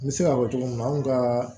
N bɛ se k'a fɔ cogo min na anw ka